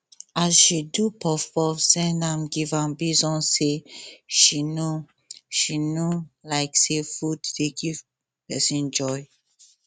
um she do puff puff send give am based on say she know she know um say food dey give person joy